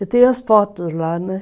Eu tenho as fotos lá, né?